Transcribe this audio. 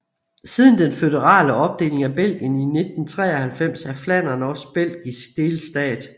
Siden den føderale opdeling af Belgien i 1993 er Flandern også en belgisk delstat